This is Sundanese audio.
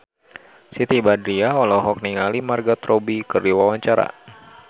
Siti Badriah olohok ningali Margot Robbie keur diwawancara